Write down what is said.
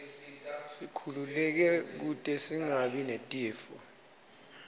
sikhululeke kute singabi netifo